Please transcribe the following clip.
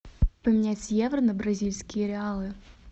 поменять евро на бразильские реалы